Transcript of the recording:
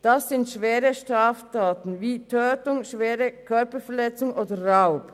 Es handelt sich um schwere Straftaten wie Tötung, schwere Körperverletzung oder Raub.